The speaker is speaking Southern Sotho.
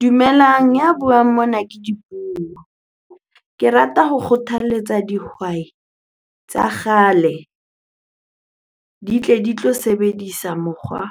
Dumelang, ya buang mona ke Dipuo. Ke rata ho kgothaletsa dihwai tsa kgale di tle di tlo sebedisa mokgwa